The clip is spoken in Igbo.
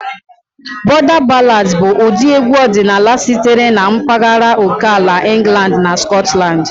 Border ballads bụ ụdị egwu ọdịnala sitere na mpaghara oke ala England na Scotland.